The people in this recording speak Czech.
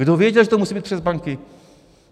Kdo věděl, že to musí být přes banky?